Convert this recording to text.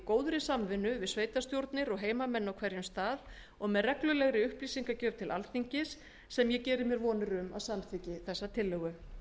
góðri samvinnu við sveitarstjórnir og heimamenn á hverjum stað og með reglulegri upplýsingagjöf til alþingis sem ég vona að samþykki þessa tillögu